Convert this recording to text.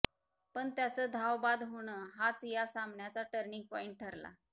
पण त्याचं धावबाद होणं हाच या सामन्याचा टर्निंग पॉईंट ठरला